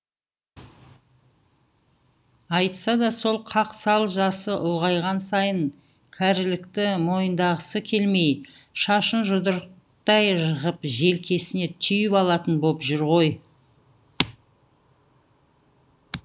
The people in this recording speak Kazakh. айтса да сол қақсал жасы ұлғайған сайын кәрілікті мойындағысы келмей шашын жұдырықтай ғып желкесіне түйіп алатын боп жүр ғой